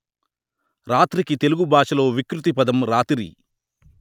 రాత్రికి తెలుగు భాషలో వికృతి పదం రాతిరి